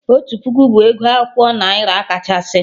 Otu puku bụ ego akwụkwọ naira kachasị